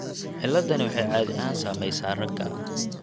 Ciladdani waxay caadi ahaan saamaysaa ragga.